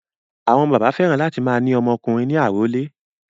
Àwọn bàbá fẹ́ràn láti máa ní ọmọ ọkùnrin ní àrólé.